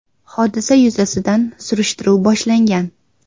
Hodisa yuzasidan surishtiruv boshlangan.